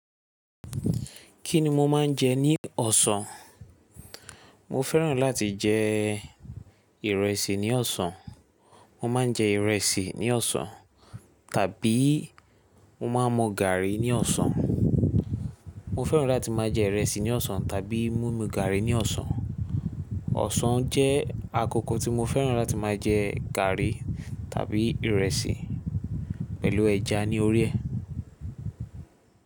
Kí ni mo máa ń jẹ ní ọ̀sán? Mo fẹ́ràn láti jẹ ìrẹsì ní ọ̀sán. Mo máa ń jẹ ìrẹsì ní ọ̀sán tàbí mo máa ń mu gàrí ní ọ̀sán. Mo fẹ́ràn láti máa jẹ ìrẹsì ní ọ̀sán tàbí mí mu gàrí ní ọ̀sán. Ọ̀sán jẹ́ àkókò tí mo fẹ́ràn láti máa jẹ gàrí tàbí ìrẹsì pẹ̀lú ẹja ní orí ẹ̀